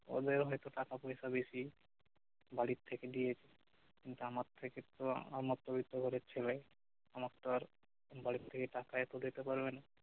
ওদের হয়তো টাকা পইসা বেশি বাড়ির থেকে থেকে দিয়েছে কিন্তু আমার থেকে তো আমরা মধ্যবিত্ত ঘরের ছেলে আমার তো আর বাড়ির থেকে টাকা এত আর দিতে পারবে না